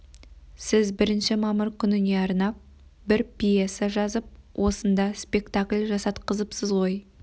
сіз бірінші мамыр күніне арнап бір пьеса жазып осында спектакль жасатқызыпсыз ғой